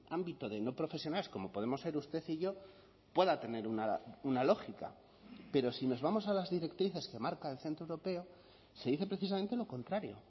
ámbito de no profesionales como podemos ser usted y yo pueda tener una lógica pero si nos vamos a las directrices que marca el centro europeo se dice precisamente lo contrario